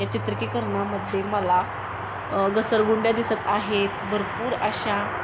या चित्रकीकर्णामध्ये मला अ घसरगुंड्या दिसत आहेत. भरपूर अशा --